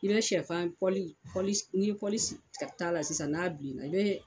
I bɛ sɛfan n'i ye sigi ta la sisan n'a bilenna i bɛ